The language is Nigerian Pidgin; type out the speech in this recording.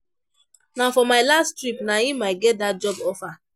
Na for my last trip na im I get dat job offer